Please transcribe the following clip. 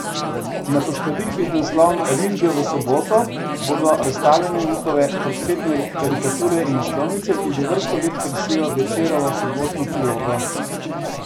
Na postavitvi z naslovom Risbe v Soboto bodo razstavljene njegove portretne karikature in naslovnice, ki že vrsto let krasijo Večerovo sobotno prilogo.